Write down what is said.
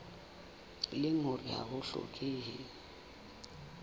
leng hore ha ho hlokehe